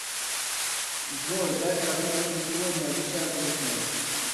джой дай прогноз на сегодня обещают ли снег